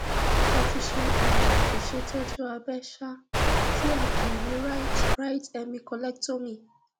mo ti ṣe um ìṣètọjú abẹ um tí a pè ní cs] right right hemi collectomy